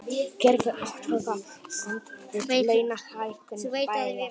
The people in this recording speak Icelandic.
Gerðu athugasemd við launahækkun bæjarstjóra